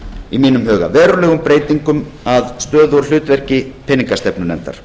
í mínum verulegum breytingum á stöðu og hlutverki peningastefnunefndar